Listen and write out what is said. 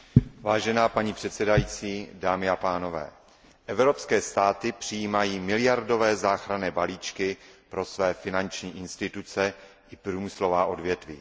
Vážená paní předsedající, dámy a pánové, evropské státy přijímají miliardové záchranné balíčky pro své finanční instituce i průmyslová odvětví.